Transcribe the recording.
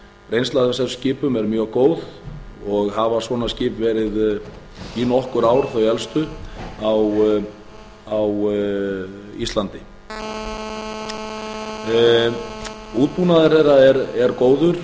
reynsla af þessum skipum er mjög góð og hafa svona skip verið í nokkur ár þau elstu á íslandi útbúnaður þeirra er góður